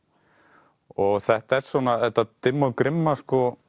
og þetta er svona þetta dimma og grimma